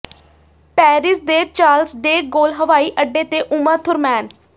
Paris ਦੇ Charles de Gaulle ਹਵਾਈ ਅੱਡੇ ਤੇ ਉਮਾ ਥੁਰਮੈਨ